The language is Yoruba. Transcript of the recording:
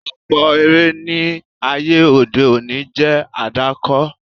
Ọ̀pọ̀ eré ní ayé òde òní jẹ́ àdàkọ.